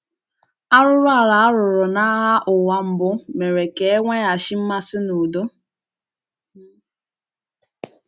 Arụrụala a rụrụ n’àgha ụ́wa Mbụ mere ka e nweghachi mmasị n’ùdó.